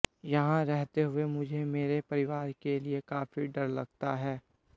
यहां रहते हुए मुझे मेरे परिवार के लिए काफी डर लगता है